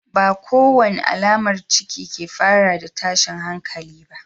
Ba kowace alamar ciki ke fara da tashin hankali ba.